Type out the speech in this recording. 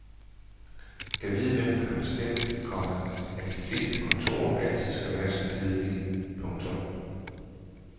Gad vide hvem der har bestemt, komma at de fleste kontorer altid skal være så kedelige. punktum